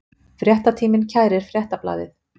Fréttatíminn kærir Fréttablaðið